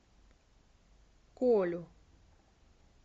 колю